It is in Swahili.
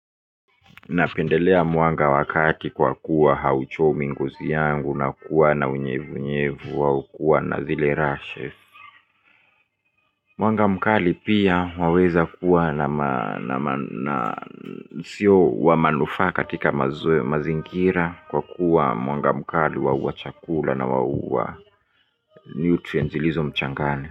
Napendelea mwanga wa kati kwa kuwa hauchomi ngozi yangu na kuwa na unyevu unyevu wa ukua na zile rashe mwanga mkali pia waweza kuwa na sio wa manufaa katika mazingira kwa kuwa mwanga mkali waua chakula na waua nutrients ilizo mchangani.